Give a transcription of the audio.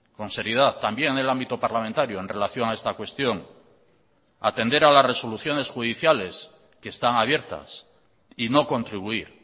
con seriedad también en el ámbito parlamentario en relación a esta cuestión atender a las resoluciones judiciales que están abiertas y no contribuir